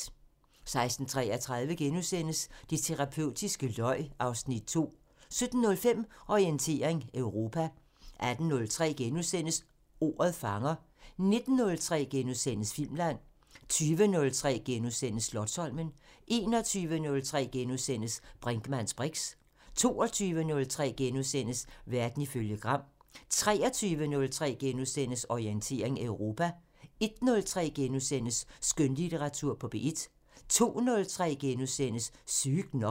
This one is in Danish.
16:33: Det terapeutiske løg (Afs. 2)* 17:05: Orientering Europa 18:03: Ordet fanger * 19:03: Filmland * 20:03: Slotsholmen * 21:03: Brinkmanns briks * 22:03: Verden ifølge Gram * 23:03: Orientering Europa * 01:03: Skønlitteratur på P1 * 02:03: Sygt nok *